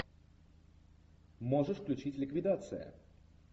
можешь включить ликвидация